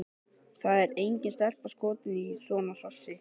Það er engin stelpa skotin í svona hrossi!